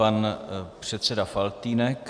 Pan předseda Faltýnek.